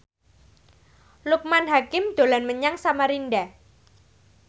Loekman Hakim dolan menyang Samarinda